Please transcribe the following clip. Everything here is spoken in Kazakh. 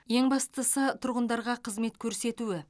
ең бастысы тұрғындарға қызмет көрсетуі